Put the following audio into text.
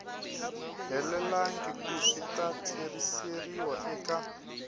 helelangiku swi ta tlheriseriwa eka